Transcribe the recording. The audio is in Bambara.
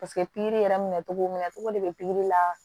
Paseke pikiri yɛrɛ minɛ cogo minɛ cogo de bɛ pikiri la